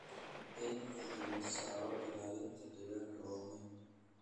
In xoogga la saaro ilaalinta deegaanka waa muhiim.